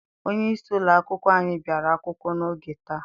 Onyeisi ụlọakwụkwọ anyị bịara akwụkwọ n'oge taa.